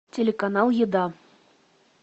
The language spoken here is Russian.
телеканал еда